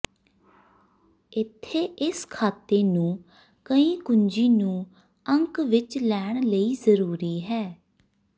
ਇੱਥੇ ਇਸ ਖਾਤੇ ਨੂੰ ਕਈ ਕੁੰਜੀ ਨੂੰ ਅੰਕ ਵਿੱਚ ਲੈਣ ਲਈ ਜ਼ਰੂਰੀ ਹੈ